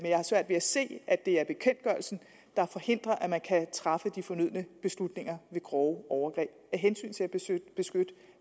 jeg har svært ved at se at det er bekendtgørelsen der forhindrer at man kan træffe de fornødne beslutninger ved grove overgreb af hensyn til